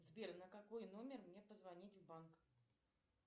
сбер на какой номер мне позвонить в банк